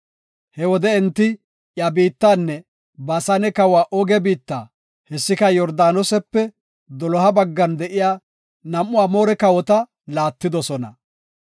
He wode enti iya biittanne Baasane kawa Ooge biitta, hessika Yordaanosepe doloha baggan de7iya nam7u Amoore kawota laattidosona.